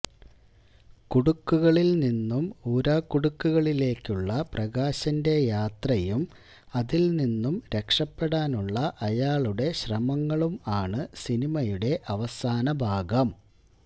കുടുക്കുകളില് നിന്നും ഊരാകുടുക്കുകളിലേക്കുള്ള പ്രകാശന്റെ യാത്രയും അതില് നിന്നും രക്ഷപ്പെടാനുള്ള അയാളുടെ ശ്രമങ്ങളും ആണ് സിനിമയുടെ അവസാന ഭാഗം